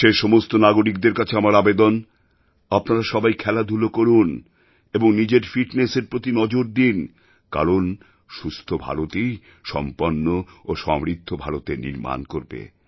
দেশের সমস্ত নাগরিকদের কাছে আমার আবেদন আপনারা সবাই খেলাধূলা করুন এবং নিজের ফিটনেসের প্রতি নজর দিন কারণ সুস্থ ভারতই সম্পন্ন ও সমৃদ্ধ ভারতের নির্মাণ করবে